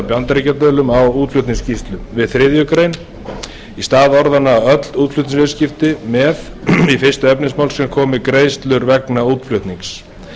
bandaríkjadölum á útflutningsskýrslu við þriðju grein í stað orðanna öll útflutningsviðskipti með í fyrsta efnismgr komi greiðslur vegna útflutnings